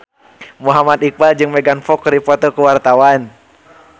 Muhammad Iqbal jeung Megan Fox keur dipoto ku wartawan